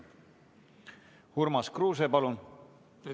Urmas Kruuse, palun!